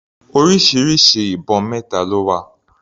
Orísirísi ibọn mẹta ló wà.